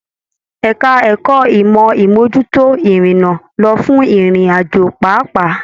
Ẹka ẹ̀kọ́ ìmọ imojuto irinna lọ fún ìrìn àjò pápá.